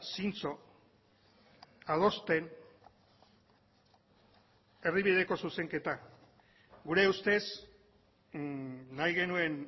zintzo adosten erdibideko zuzenketa gure ustez nahi genuen